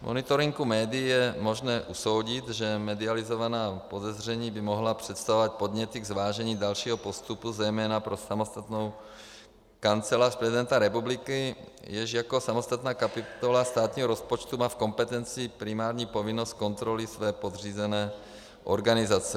Z monitoringu médií je možné usoudit, že medializovaná podezření by mohla představovat podněty k zvážení dalšího postupu, zejména pro samotnou Kancelář prezidenta republiky, jež jako samostatná kapitola státního rozpočtu má v kompetenci primární povinnost kontroly své podřízené organizace.